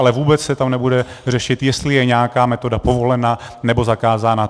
Ale vůbec se tam nebude řešit, jestli je nějaká metoda povolena, nebo zakázána.